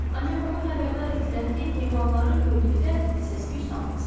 Ancaq onu xəbərdar etdilər ki, heyvanları gördükdə səs-küy salmasın.